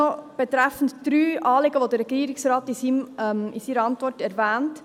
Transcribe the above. Noch betreffend dreier Anliegen, die der Regierungsrat in seiner Antwort erwähnt: